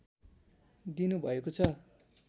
दिनु भएको छ